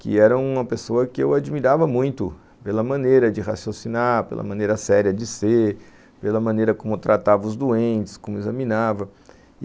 que era uma pessoa que eu admirava muito pela maneira de raciocinar, pela maneira séria de ser, pela maneira como tratava os doentes, como examinava.